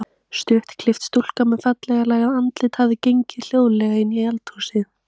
Stuttklippt stúlka með fallega lagað andlit hafði gengið hljóðlega inn í eldhúsið.